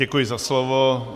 Děkuji za slovo.